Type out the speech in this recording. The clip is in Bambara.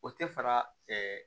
O tɛ fara